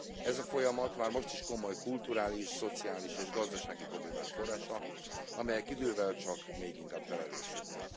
Ez a folyamat már most is komoly kulturális, szociális és gazdasági problémák forrása, amelyek idővel csak még inkább felerősödnek.